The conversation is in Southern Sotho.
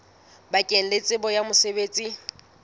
bakeng la tsebo ya mosebetsi